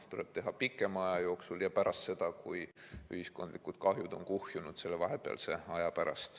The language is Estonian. Ja see kehtib pikema aja jooksul ja ühiskondlikud kahjud on vahepeal kuhjunud.